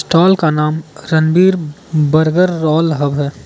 टाल का नाम रणवीर बर्गर रोल हब है।